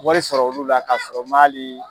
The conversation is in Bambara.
Wari sɔrɔ olu la ka sɔrɔ n man hali